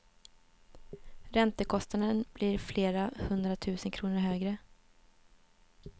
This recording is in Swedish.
Räntekostnaden blir flera hundra tusen kronor högre.